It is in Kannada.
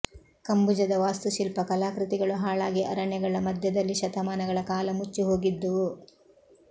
ಕಂಬುಜದ ವಾಸ್ತುಶಿಲ್ಪ ಕಲಾಕೃತಿಗಳು ಹಾಳಾಗಿ ಅರಣ್ಯಗಳ ಮಧ್ಯದಲ್ಲಿ ಶತಮಾನಗಳ ಕಾಲ ಮುಚ್ಚಿಹೋಗಿದ್ದುವು